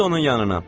Düz onun yanına.